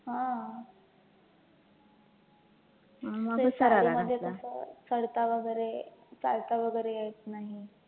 हा ते साडीमध्ये कसं चढता वैगरे, चालता वैगरे येतं नाही.